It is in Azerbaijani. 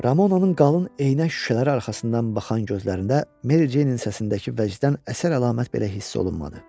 Ramonanın qalın eynək şüşələri arxasından baxan gözlərində Mericeyinin səsindəki vəcdən əsər əlamət belə hiss olunmadı.